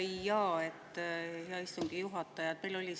Hea istungi juhataja!